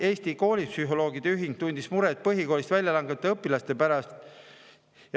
Eesti Koolipsühholoogide Ühing tundis muret põhikoolist väljalangevate õpilaste pärast.